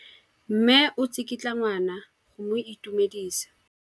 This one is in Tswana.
Mme o tsikitla ngwana go mo itumedisa.